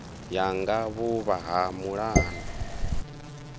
ya nga vhuvha ha mulanu